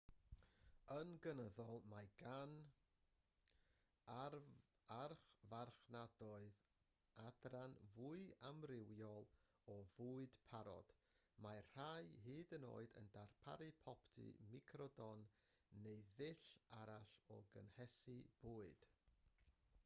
yn gynyddol mae gan archfarchnadoedd adran fwy amrywiol o fwyd parod mae rhai hyd yn oed yn darparu popty microdon neu ddull arall o gynhesu bwyd